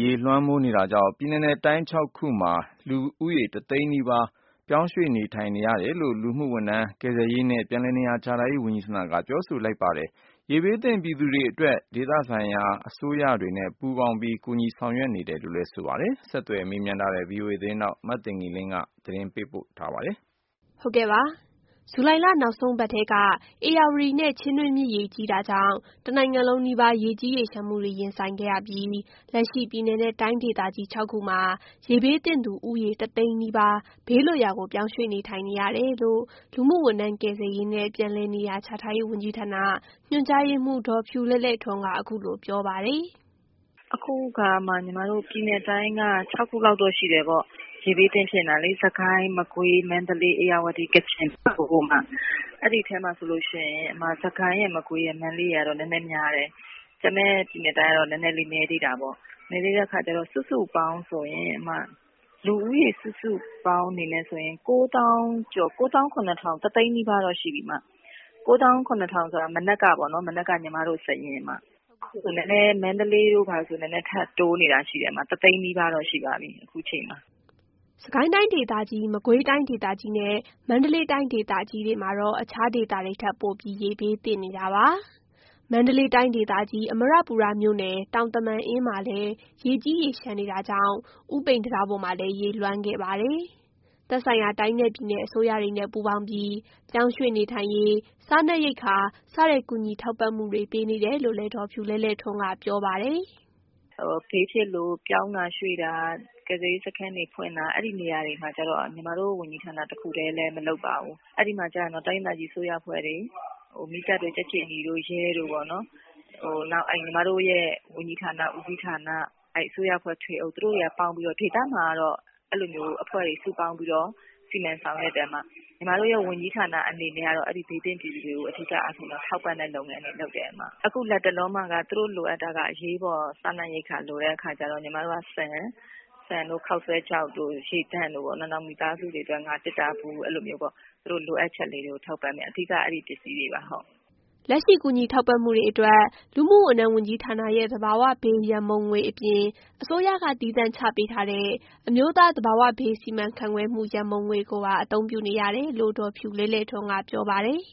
ရေလွှမ်းမိုးနေတာကြောင့် ပြည်နယ်နဲ့ တိုင်းဒေသကြီး၆ ခုမှာလူဦးရေ ၁ သိန်းနီးပါးပြောင်းရွှေ့နေထိုင်နေရတယ်လို့ လူမှုဝန်ထမ်း၊ ကယ်ဆယ်ရေးနဲ့ ပြန်လည်နေရာချထားရေးဝန်ကြီးဌာနကပြောဆိုလိုက်ပါတယ်။ ရေဘေးဒဏ်ခံနေရတဲ့ ဒေသတွေမှာသက်ဆိုင်ရာအစိုးရတွေနဲ့ ပူးပေါင်းပြီးကူညီဆောင်ရွက်မှုတွေလည်းလုပ်နေတယ်လို့ ဆိုပါတယ်။ ဆက်သွယ်မေးမြန်းထားတဲ့ VOA သတင်းထောက် မသိင်္ဂ ီလင်းကပြောပြပေးပါမယ်။ ဇူလိုင်လနောက်ဆုံးပတ်ထဲက ဧရာဝတီနဲ့ ချင်းတွင်းမြစ်ရေ ကြီးတာကြောင့် တစ်နိုင်ငံလုံးနီးပါးရေကြီးရေလျှံမှုတွေ ရင်ဆိုင်ခဲ့ရပြီးလက်ရှိ ပြည်နယ်နဲ့တိုင်းဒေသကြီး ၆ ခုမှာရေဘေးသင့်သူဦးရေ ၁ သိန်းနီးဘေးလွတ်ရာကိုပြောင်းရွှေ့နေထိုင်ရတယ်လို့ လူမှုဝန်ထမ်း၊ ကယ်ဆယ်ရေးနဲ့ ပြန်လည်နေရာချထားရေးဝန်ကြီးဌာန၊ ညွှန်ကြားရေးမှူး ဒေါ်ဖြူလဲ့လဲ့ထွန်းကအခုလိုပြောပါတယ်။ “အခုအခါမှာ ပြည်နယ်တိုင်းက ၆ ခုရှိတယ်ပေါ့ ရေဘေးသင့်ဖြစ်နေတာလေ။ စစ်ကိုင်း၊ မကွေး၊ မန္တလေး၊ ဧရာဝတီ၊ ကချင်၊ ပဲခူး ဘက်ကို အမ။ အဲဒီထဲမှာဆိုရင် စစ်ကိုင်း၊ မကွေး၊ မန္တလေး တို့ကတော့နည်းနည်းများတယ်။ ကျန်တဲ့ပြည်နယ်တိုင်းကတော့ နည်းနည်းလေးနည်းသေးတာပေါ့။ နည်းသေးတဲ့အခါကျတော့ လူဦးရေစုစုပေါင်းအနေနဲ့ ဆိုရင် ၉ သောင်း ၇ ထောင် ၊ ၁ သိန်းလောက်တော့ရှိပြီ။ ၉ သောင်း ၇ ထောင် ဆိုတာ မနက်က ညီမတို့ စာရင်း ။ ဒါပေမယ့် မန္တလေးတို့မှာ ထပ်တိုးနေတာရှိတယ် ။ ၁ သိန်းနီးပါးတော့ရှိပါပြီ အခုအချိန်မှာ။” စစ်ကိုင်းတိုင်းဒေသကြီး၊ မကွေးတိုင်းဒေသကြီးနဲ့ မန္တလေးတိုင်းဒေသကြီးတွေမှာတော့ အခြားဒေသတွေထက် ပိုပြီးရေဘေးသင့်နေတာပါ။ မန္တလေးတိုင်းဒေသကြီးအမရပူရမြို့နယ်၊ တောင်သမန်အင်းမှာလည်းရေကြီးရေလျှံနေတာကြောင့် ဦးပိန်တံတားပေါ်မှာလည်းရေလွှမ်းခဲ့ပါတယ်။ သက်ဆိုင်ရာတိုင်းနဲ့ ပြည်နယ် အစိုးရတွေနဲ့ ပူးပေါင်းပြီးပြောင်းရွှေ့နေထိုင်ရေး၊ စားနပ်ရိပ်က္ခာစတဲ့ ကူညီထောက်ပံ့မှုတွေ ပေးနေတယ်လို့လည်းဒေါ်ဖြူလဲ့လဲ့ထွန်းကပြောပါတယ်။ “ဘေးဖြစ်လို့ပြောင်းတာရွေ့တာ ကယ်ဆယ်ရေးစခန်းတွေဖွင့်တာ အဲဒီနေရာတွေမှာကျတော့ ညီမတို့ ဝန်ကြီးဌာနတခုထဲနဲ့ မလုပ်ပါဘူး။ အဲဒီမှာကျတော့ တိုင်းဒေသကြီးအစိုးရအဖွဲ့တွေ မီးသတ်တို့၊ ကြက်ခြေနီတို့ ရဲတို့ပေါ့နော်။ နောက် ညီမတို့ရဲ့ ဝန်ကြီးဌာန ဦးစီးဌာန အဲဒီအစိုးရအဖွဲ့တွေနဲ့ပေါင်းပြီး ဒေသမှာ ကတော့ အဲလိုအဖွဲ့တွေစုပေါင်းပြီးတော့ စီစဉ်ဆောင်ရွက်တယ်အမ။ ညီမတို့ရဲ့ ဝန်ကြီးဌာနအနေနဲ့ကတော့ အဲဒီဘေးသင့်ပြည်သူတွေကို အဓိကအားဖြင့်တော့ ထောက်ပံ့တဲ့လုပ်ငန်းတွေလုပ်တယ်။အခုလက်တလောမှာက သူတို့လိုအပ်တာက အရေးပေါ်စားနပ်ရိက္ခာလိုတဲ့အခါကျတော့ ညီမတို့က ဆန်တို့၊ ခေါက်ဆွဲခြောက်တို့ ရေသန့်တို့ နောက် မိသားစုတွေအတွက် ငါးသတ္တာဘူးတို့ အဲလိုမျိုးသူတို့လိုအပ်ချက်လေးကို ထောက်ပံ့နေပါတယ် အဓိကအဲဒီပစ္စည်းတွေပါ။” လက်ရှိကူညီထောက်ပံ့မှုတွေအတွက် လူမှုဝန်ထမ်းဝန်ကြီးဌာနရဲ့ သဘာဝဘေးရန်ပုံငွေအပြင် အစိုးရကသီးသန့်ချထားပေးတဲ့ အမျိုးသားသဘာဝဘေးစီမံခန့်ခွဲမှု ရန်ပုံငွေကိုပါ အသုံးပြုနေရတယ်လို့ ဒေါ်ဖြူလဲ့လဲ့ထွန်းကပြောပါတယ်။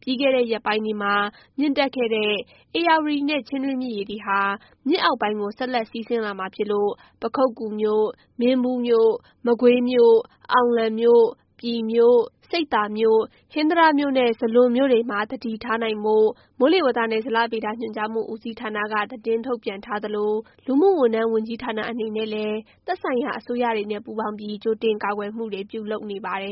ပြီးခဲ့တဲ့ ရက်ပိုင်းတွေမှာ မြင့်တက်ခဲ့တဲ့ ဧရာဝတီနဲ့ ချင်းတွင်းမြစ်ရေတွေဟာ မြစ်အောက်ပိုင်းကိုဆက်လက်စီးဆင်းလာမှာဖြစ်လို့ ပခုက္ကူမြို့၊ မင်းဘူးမြို့၊ မကွေးမြို့၊ အောင်လံမြို့၊ ပြည်မြို့၊ ဆိပ်သာမြို့၊ ဟင်္သာတမြို့နဲ့ ဇလွန်မြို့တွေမှာသတိထားဖို့ မိုးလေဝသနဲ့ဇလဗေဒညွှန်ကြားမှုဦးစီးဌာနကသတင်းထုတ်ပြန်ထားသလိုလူမှုဝန်ထမ်းဝန်ကြီးဌာနအနေနဲ့လည်းသက်ဆိုင်ရာအစိုးရအဖွဲ့တွေနဲ့ ပူးပေါင်းပြီး ကြိုတင်ကာကွယ်မှုတွေ ပြုလုပ်နေပါတယ်